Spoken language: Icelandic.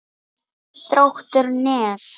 Þróttur Nes.